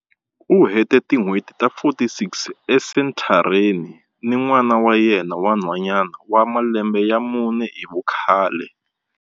U hete tin'hweti ta 46 esenthareni ni n'wana wa yena wa nhwanyana wa malembe ya mune hi vukhale.